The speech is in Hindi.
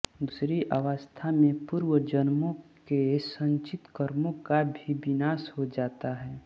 दूसरी अवस्था में पूर्व जन्मों के संचित कर्मों का भी विनाश हो जाता है